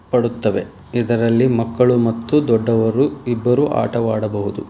ಪಡುತ್ತವೆ ಇದರಲ್ಲಿ ಮಕ್ಕಳು ಮತ್ತು ದೊಡ್ಡವರು ಇಬ್ಬರು ಆಟ ಆಡಬಹುದು.